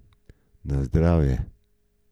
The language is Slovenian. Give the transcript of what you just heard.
Na zdravje!